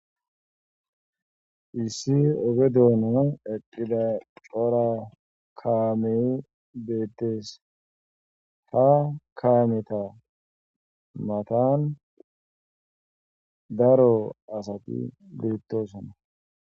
issi oge doonanan eqqida cora kaame beettees ha kaameta matan daro asati bettosona